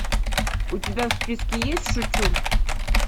у тебя в списке есть шучу